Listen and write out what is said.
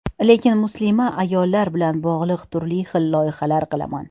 Lekin muslima ayollar bilan bog‘liq turli xil loyihalar qilaman.